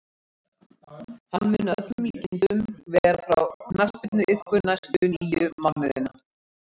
Hann mun að öllum líkindum vera frá knattspyrnuiðkun næstu níu mánuðina.